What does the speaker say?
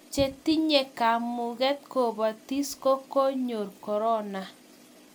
chetinye kamunget kobatis ko koyor korona